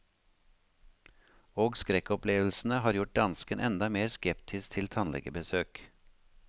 Og skrekkopplevelsene har gjort dansken enda mer skeptisk til tannlegebesøk.